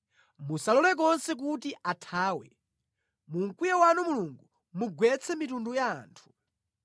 Musalole konse kuti athawe; mu mkwiyo wanu Mulungu mugwetse mitundu ya anthu.